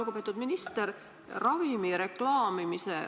Lugupeetud minister!